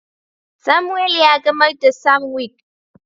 Samuel ya gamar da sanwic.